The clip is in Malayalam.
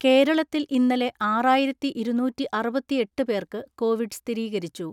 കേരളത്തിൽ ഇന്നലെ ആറായിരത്തിഇരുന്നൂറ്റിഅറുപത്തിഎട്ട് പേർക്ക് കോവിഡ് സ്ഥിരീകരിച്ചു.